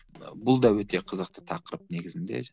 ы бұл да өте қызықты тақырып негізінде